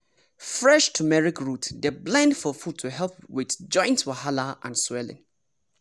fresh turmeric root dey blend for food to help with joint wahala and swelling.